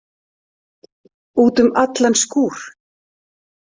Út um allan skúr!